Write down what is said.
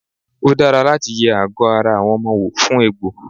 Ó dára láti yẹ àgọ́ ara àwọn ọmọ wò fún egbò.